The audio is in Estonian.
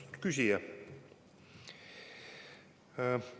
Austatud küsija!